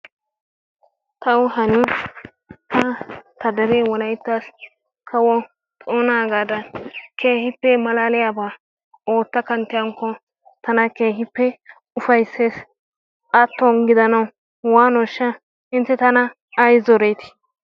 taw hano ta dere wolaytta kawo toonagadan keehippe malaaliyaaba ootta kanttiyaakko tana keehippe ufaysses. atton gidanaw waanoshsha? intte tana ay zoreti?